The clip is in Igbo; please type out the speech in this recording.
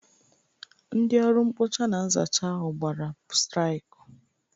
Ndị ọrụ mkpocha na nzacha ahụ gbara straikụ.